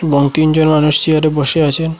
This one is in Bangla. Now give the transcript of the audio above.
এবং তিনজন মানুষ চেয়ারে বসে আছেন।